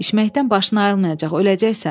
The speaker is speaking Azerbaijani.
İçməkdən başın ayılmayacaq, öləcəksən.